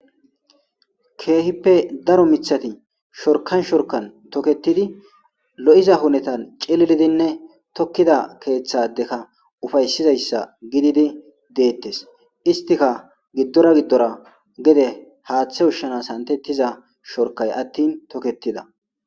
Keehippe daro miththati shorkan shorkan tokettidinne lo7iza hunetan cililidi tookkida keethadeka ufayssiza gididi dettes izitika gidora giddorGede haathe ushshanas dizayssi beettes.